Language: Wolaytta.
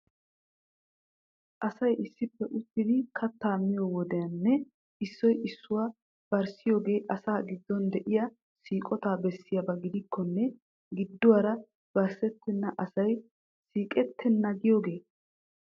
Asay issippe uttidi kattaa miyoo wodiyan issoy issuwaa barssioogee asaa giddon diyaa siiqotaa bessiyaaba gidikkonne gidduwaara barssettenna asay siiqettenna giyoogee?